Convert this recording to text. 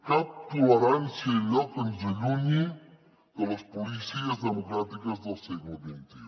cap tolerància a allò que ens allunyi de les policies democràtiques del segle xxi